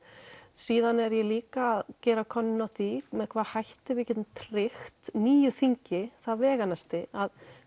síðan er ég líka að gera könnun á því með hvaða hætti við getum tryggt nýju þingi það veganesti að